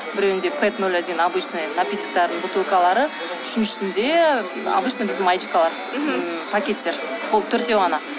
біреуінде пэп ноль один обычный напитоктардың бутылкалары үшіншісінде обычный біздің маечкалар ммм пакеттер болды төртеу ғана